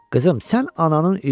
Qızım, sən ananın ilkisən.